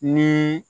Ni